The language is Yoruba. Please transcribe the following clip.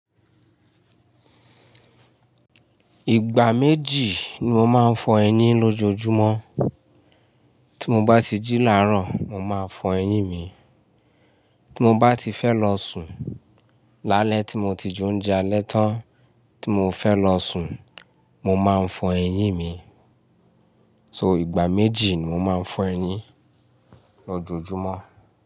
Ìgbà méjì ni mo máa ń fọ eyín lójoojúmọ́. Tí mo bá ti jí làárọ̀, mo máa fọ eyín mi, tí mo bá ti fẹ́ lọ sùn lálẹ́ tí mo ti jẹ oúnjẹ alẹ́ tán tí mo fẹ́ lọ sùn, mo máa ń fọ eyín mi. So ìgbà méjì ni mo máa ń fọ eyín lójoojúmọ́.